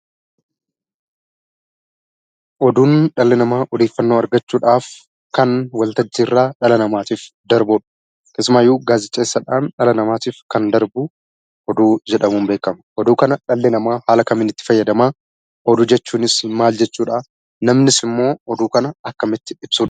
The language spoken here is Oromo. Oduun dhalli namaa odeeffannoo argachuudhaf kan waltajjiirraa dhala namaatif darbudha. Keessumaayyuu gaazexeessaadhan dhala namaatif kan darbu namaatif darbu oduu jedhamuun beekama. Oduu kana dhalli namaa haala kamiin itti fayyadamaa? oduu jechuunis maal jechuudha? namnis immoo oduu kana akkamitti ibsuu danda'a?